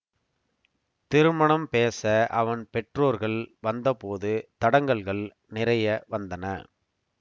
திருமணம் பேச அவன் பெற்றோர்கள் வந்தபோது தடங்கல்கள் நிறைய வந்தன